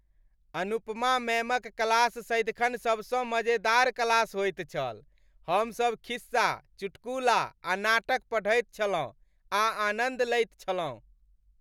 अनुपमा मैमक क्लास सदिखन सबसँ मजेदार क्लास होइत छल। हमसभ खिस्सा , चुटकुला, आ नाटक पढ़ैत छलहुँ आ आनन्द लैत छलहुँ।